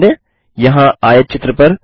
ध्यान दें यहाँ आयतचित्र पर